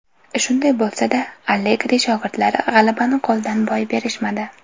Shunday bo‘lsada, Allegri shogirdlari g‘alabani qo‘ldan boy berishmadi.